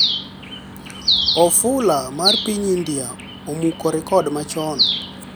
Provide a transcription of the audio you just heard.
Ofula mar piny India 'Omuko rekod machoni'